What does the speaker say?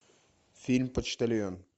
фильм почтальон